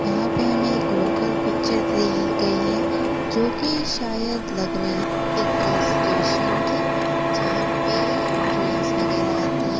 यहां पे हमें एक लोकल पिक्चर गई है जो कि शायद लग रही एक स्टेशन की यहां पे ट्रेंस वगैरह आती है।